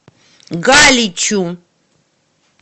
галичу